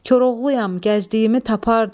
Koroğluyam, gəzdiyimi tapardım.